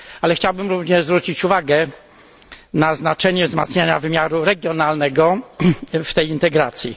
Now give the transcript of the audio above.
Chciałbym również zwrócić uwagę na znaczenie wzmacniania wymiaru regionalnego w tej integracji.